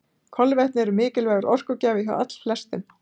Kolvetni eru mikilvægur orkugjafi hjá allflestum.